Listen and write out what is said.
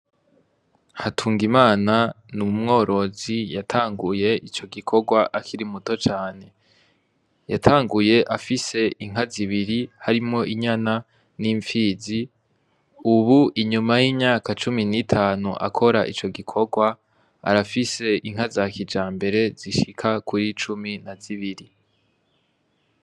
Hatunga imana ni umworozi yatanguye ico gikorwa akiri muto cane yatanguye afise inka zibiri harimo inyana n'imfizi, ubu inyuma y'inyaka cumi n'itanu akora ico gikorwa arafise inka za kija mbere zishika ka kuyo icumi na zibiri.